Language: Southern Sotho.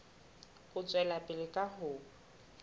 ho tswela pele ka ho